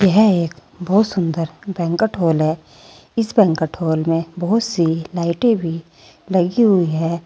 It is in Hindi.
यह एक बहुत सुंदर बैंकट हॉल है इस बैंकट हॉल में बहुत सी लाइटें भी लगी हुई हैं।